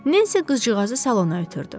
Nensi qızcığazı salona ötrdü.